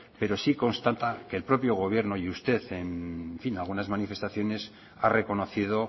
pero sí constata que el propio gobierno y usted en fin en algunas manifestaciones ha reconocido